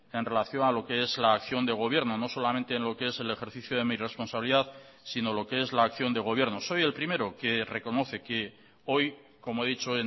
en relación a lo que es la acción de gobierno no solamente en lo que es el ejercicio de mi responsabilidad sino lo que es la acción de gobierno soy el primero que reconoce que hoy como he dicho